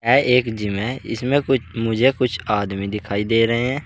यह एक जिम है इसमें कुछ मुझे कुछ आदमी दिखाई दे रहे हैं।